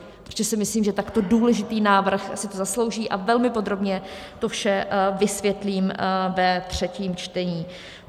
Ještě si myslím, že takto důležitý návrh si to zaslouží, a velmi podrobně to vše vysvětlím ve třetím čtení.